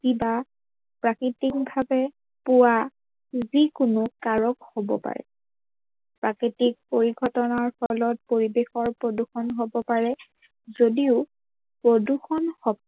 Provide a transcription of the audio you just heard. বা প্ৰাকৃতিকভাবে পোৱা যিকোনো কাৰক হব পাৰে, প্ৰকৃতিক পৰিঘটনাৰ ফলত পৰিবেশৰ প্ৰদূৰ্ষন হব পাৰে যদিও প্ৰদূৰ্ষন শক্তি